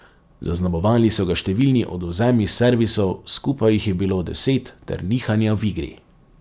Zaznamovali so ga številni odvzemi servisov, skupaj jih je bilo deset, ter nihanja v igri.